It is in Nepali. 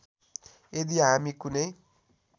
यदि हामी कुनै